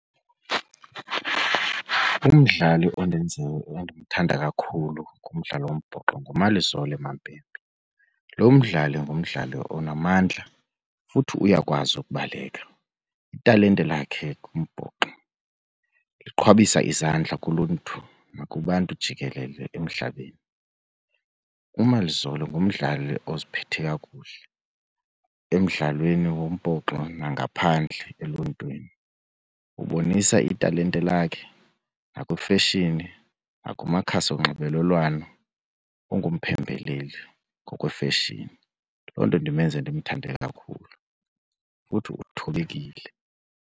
Umdlali endimthanda kakhulu kumdlalo wombhoxo nguMalizole Mapimpi. Lo mdlali ngumdlali onamandla futhi uyakwazi ukubaleka. Italente lakhe kumbhoxo liqhwabisa izandla kuluntu nakubantu jikelele emhlabeni. uMalizole ngumdlali oziphethe kakuhle emdlalweni wombhoxo nangaphandle eluntwini. Ubonisa italente lakhe, nakwifeshini nakumakhasi onxibelelwano ungumphembeleli ngokwefeshini. Yiloo nto ndimenze ndimthande kakhulu futhi uthobekile.